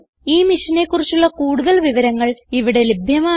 ഈ മിഷനെ കുറിച്ചുള്ള കുടുതൽ വിവരങ്ങൾ ഇവിടെ ലഭ്യമാണ്